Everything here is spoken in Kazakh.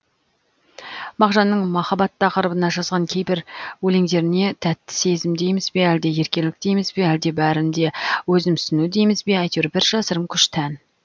мағжанның махаббат тақырыбына жазған кейбір өлеңдеріне тәтті сезім дейміз бе әлде еркелік дейміз бе әлде бәрін де өзімсіну дейміз бе әйтеуір бір жасырын күш тән